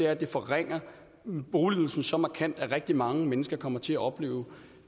at det forringer boligydelsen så markant at rigtig mange mennesker kommer til at opleve